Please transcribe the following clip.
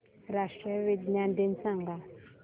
राष्ट्रीय विज्ञान दिन सांगा